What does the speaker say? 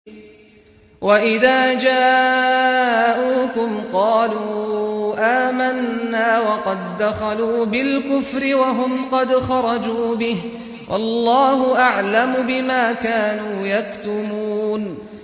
وَإِذَا جَاءُوكُمْ قَالُوا آمَنَّا وَقَد دَّخَلُوا بِالْكُفْرِ وَهُمْ قَدْ خَرَجُوا بِهِ ۚ وَاللَّهُ أَعْلَمُ بِمَا كَانُوا يَكْتُمُونَ